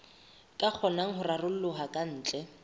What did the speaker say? ka kgonang ho raroloha kantle